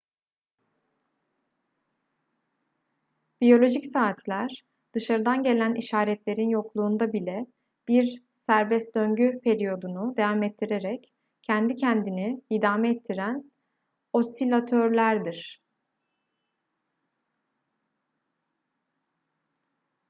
biyolojik saatler dışarıdan gelen işaretlerin yokluğunda bile bir serbest döngü periyodunu devam ettirerek kendi kendini idame ettiren osilatörlerdir